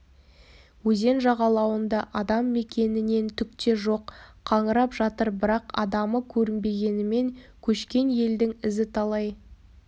өзен жағалауында адам мекенінен түк те жоқ қаңырап жатыр бірақ адамы көрінбегенімен көшкен елдің ізі талай